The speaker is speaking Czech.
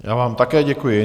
Já vám také děkuji.